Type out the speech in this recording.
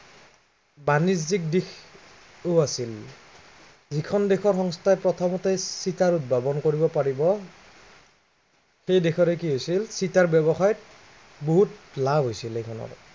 বাণিজ্য়িক দিশটোও আছিল। যিখন দেশৰ সংস্থাই প্ৰথমতে চিটাৰ উদ্ভাৱন কৰিব পাৰিব সেই দেশৰে কি হৈছিল। চিটাৰ ব্য়ৱসায় বহুত লাভ কৰিছিল